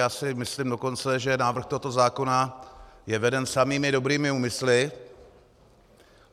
Já si myslím dokonce, že návrh tohoto zákona je veden samými dobrými úmysly.